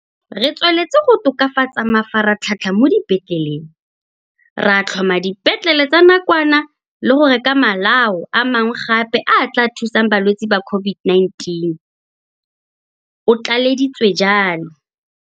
Re tsweletse go tokafatsa mafaratlhatlha mo dipetleleng, ra tlhoma dipetlele tsa nakwana le go reka malao a mangwe gape a a tla thusang balwetse ba COV-ID-19, o tlaleleditse jalo.